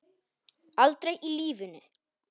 Aldrei í lífinu!